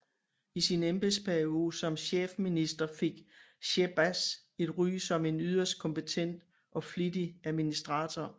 I sin embedsperiode som chefminister fik Shehbaz et ry som en yderst kompetent og flittig administrator